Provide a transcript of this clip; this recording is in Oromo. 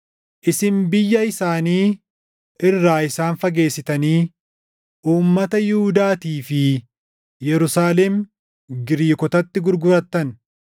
Isin biyya isaanii irraa isaan fageessitanii uummata Yihuudaatii fi Yerusaalem Giriikotatti gurgurattan.